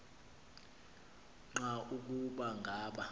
nqa ukuba ngaba